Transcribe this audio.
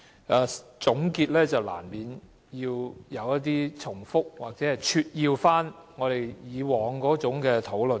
既然是總結，難免會重複或撮要我們以往的討論。